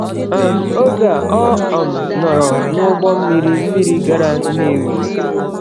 um Oge a, ọ um nọrọ n’ụgbọ mmiri mmiri gara Nnewi.